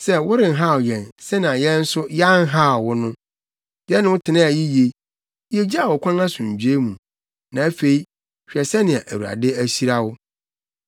sɛ worenhaw yɛn, sɛnea yɛn nso, yɛanhaw wo no. Yɛne wo tenaa yiye. Yegyaa wo kwan asomdwoe mu. Na afei, hwɛ sɛnea Awurade ahyira wo.”